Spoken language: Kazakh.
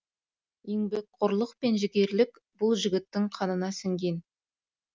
еңбекқорлық пен жігерлілік бұл жігіттің қанына сіңген